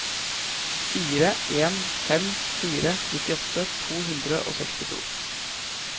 fire en fem fire nittiåtte to hundre og sekstito